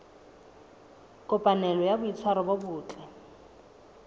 kopanelo ya boitshwaro bo botle